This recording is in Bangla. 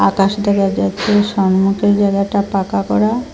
আকাশ দেখা যাচ্ছে সামনেটা জায়গাটা পাকা করা।